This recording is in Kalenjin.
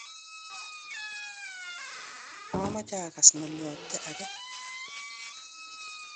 mameche akas ng'oliobde age